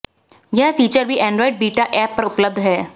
यह फीचर भी Android beta app पर उपलब्ध है